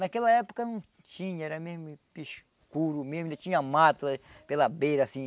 Naquela época não tinha, era mesmo escuro mesmo, ainda tinha mato pela beira, assim.